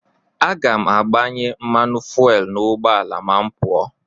Aga m agbanye mmanụ fuwel n'ụgbọala ma m pụọ.